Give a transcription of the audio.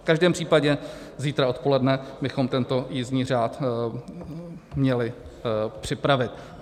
V každém případě zítra odpoledne bychom tento jízdní řád měli připravit.